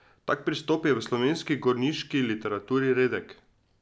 Tak pristop je v slovenski gorniški literaturi redek.